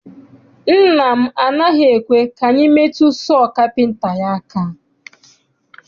Nna m anaghị ekwe ka anyị metu sọọ kapịnta ya aka.